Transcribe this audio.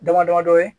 Dama dama dɔ ye